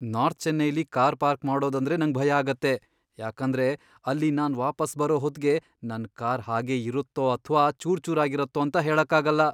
North ಚೆನ್ನೈಲಿ car park ಮಾಡೋದಂದ್ರೇ ನಂಗ್ ಭಯ ಆಗತ್ತೆ, ಯಾಕಂದ್ರೆ ಅಲ್ಲಿ ನಾನ್ ವಾಪಸ್ ಬರೋಹೊತ್ಗೆ ನನ್ ಕಾರ್ ಹಾಗೇ ಇರತ್ತೋ ಅಥ್ವಾ ಚೂರ್ಚೂರಾಗಿರತ್ತೋ ಅಂತ ಹೇಳಕ್ಕಾಗಲ್ಲ.